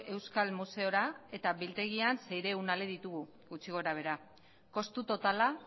euskal museora eta biltegian seiehun ale ditugu gutxi gorabehera kostu totala